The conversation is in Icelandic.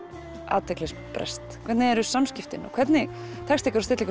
athyglisbrest hvernig eru samskiptin og hvernig tekst ykkur að stilla